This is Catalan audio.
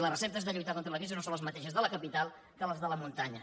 les receptes per lluitar contra la crisi no són les mateixes les de la capital que les de la muntanya